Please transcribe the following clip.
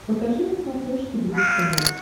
покажи на смотрешке бридж тв